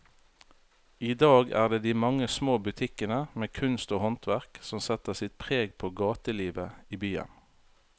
I dag er det de mange små butikkene med kunst og håndverk som setter sitt preg på gatelivet i byen.